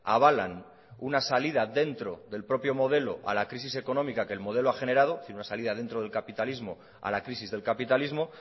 avalan una salida dentro del propio modelo a la crisis económica que el modelo ha generado es decir una salida dentro del capitalismo a la crisis del capitalismo